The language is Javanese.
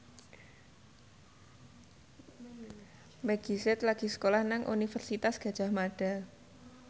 Meggie Z lagi sekolah nang Universitas Gadjah Mada